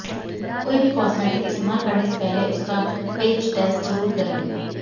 कोई भी कॉस्मेटिक इस्तेमाल करने से पहले उसका पैच टेस्ट जरूर करें